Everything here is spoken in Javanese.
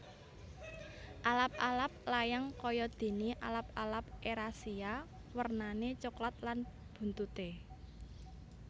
Alap alap layang kaya dene alap alap erasia wernane coklat lan buntute